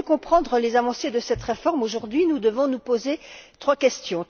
Pour mieux comprendre les avancées de cette réforme, aujourd'hui, nous devons nous poser trois questions.